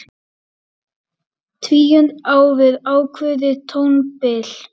Tvíund á við ákveðið tónbil.